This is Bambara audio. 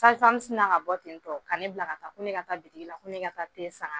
Sazi famu sina ka bɔ ten tɔ ka ne bila ka taa ko ne ka taa butigi la ko ne ka te san ka na